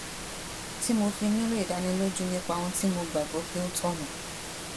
tí mo fi nílò ìdánilójú nípa ohun tí mo gbà gbó pé ó tònà